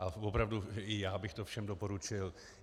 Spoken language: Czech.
A opravdu i já bych to všem doporučil.